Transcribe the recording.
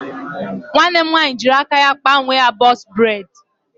Nwanne m nwaanyị jịrị aka ya kpa onwe ya bọx breds